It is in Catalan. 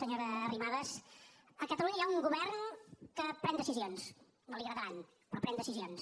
senyora arrimadas a catalunya hi ha un govern que pren decisions no li agradaran però pren decisions